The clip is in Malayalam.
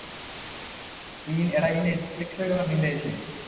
എടാ ഇ Netflix ഒക്കെ വന്നതിന്റെ ശേഷമേ